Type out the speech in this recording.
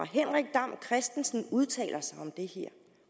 henrik dam kristensen udtalte sig om det her